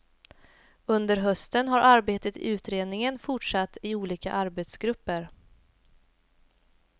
Under hösten har arbetet i utredningen fortsatt i olika arbetsgrupper.